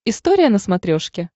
история на смотрешке